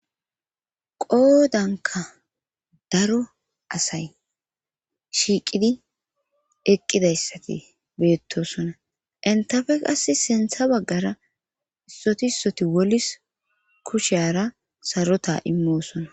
qoodanka daro asay shiiqidi eqqidayssati beettosona intafe qass sintha baggara issoti issoti wolis kusheyara sarota immoosona